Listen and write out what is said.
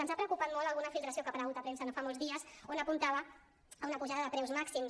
ens ha preocupat molt alguna filtració que ha aparegut a premsa no fa molts dies on apuntava a una pujada de preus màxims